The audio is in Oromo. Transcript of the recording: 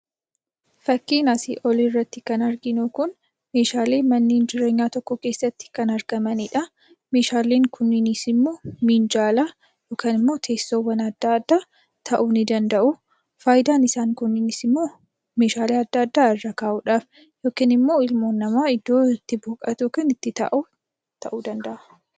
Fakiin asii olii irratti arginu kun meeshaalee manneen jireenyaa tokko keessatti argamanidha. Meeshaalee Kunis immoo minjaala yookiin teessoowwan adda addaa ta'uu ni danda'u. Faayidaan isaa immoo meeshaalee garagaraa irra kaa'udhaaf yookiin namni irra taa'uudhaaf kan gargaarudha.